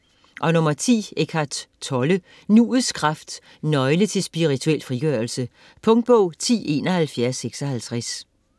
Tolle, Eckhart: Nuets kraft: nøgle til spirituel frigørelse Punktbog 107156